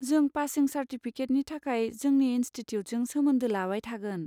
जों पासिं चार्टिफिकेटनि थाखाय जोंनि इनस्टिटिउटजों सोमोन्दो लाबाय थागोन।